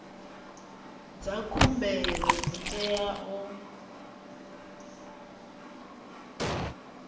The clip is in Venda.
dza khumbelo dzi tea u